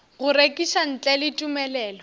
go rekiša ntle le tumelelo